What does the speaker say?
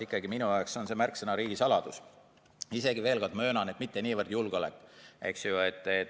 Ikkagi minu jaoks on see märksõna riigisaladus, mitte niivõrd julgeolek.